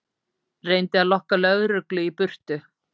Reyndi að lokka lögreglu í burtu